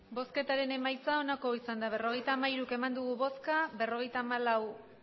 emandako botoak berrogeita hamairu bai berrogeita hamalau